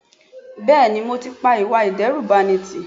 Bẹ́ẹ̀ni mo ti pa ìwà ìdẹ́rùbani tí